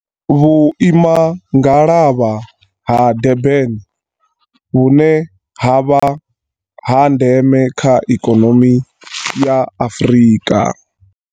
Vhuimangalavha ha Durban, vhune ha vha ha ndeme kha ikonomi ya Afrika.